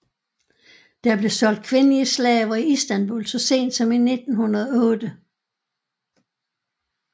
Der blev solgt kvindelige slaver i Istanbul så sent som i 1908